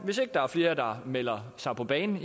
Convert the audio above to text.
hvis ikke der er flere der melder sig på banen